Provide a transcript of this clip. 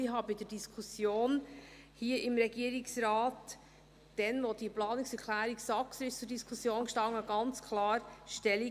Bei der Diskussion hier im Rat – damals, als die Planungserklärung Saxer zur Diskussion stand – nahm ich ganz klar Stellung.